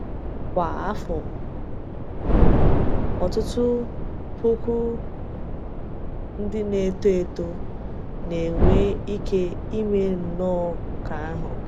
Kwa afọ, ọ̀tụtụ puku ndị na-eto eto na-enwe ike ime nnọọ nke àhụ.